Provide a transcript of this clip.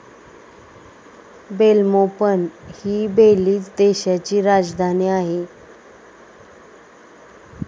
Belmopan हि Belize देशाची राजधानी आहे.